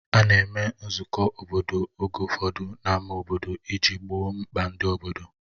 A na-eme nzukọ obodo oge ụfọdụ n'ámá obodo iji gboo mkpa ndị obodo.